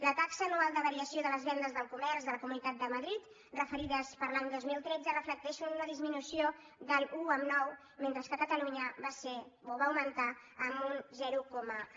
la taxa anual de variació de les vendes del comerç de la comunitat de madrid referides per a l’any dos mil tretze reflecteixen una disminució de l’un coma nou mentre que a catalunya va ser o va augmentar en un zero coma un